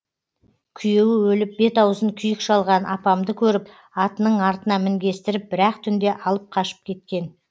күйеуі өліп бет аузын күйік шалған апамды көріп атының артына мінгестіріп бір ақ түнде алып қашып кеткен